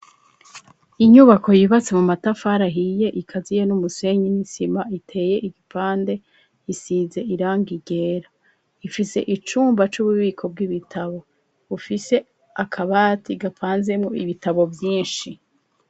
Inyubako yubatse mu matafara ahiye ikaziyemo umusenyi n'isima iteye igipande isize irangi ryera ifise icumba c'ububiko bw'ibitabo bufise akabati gapanzemwo ibitabo vyinshi.